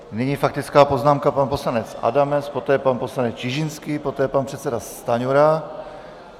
Nyní faktická poznámka, pan poslanec Adamec, poté pan poslanec Čižinský, poté pan předseda Stanjura.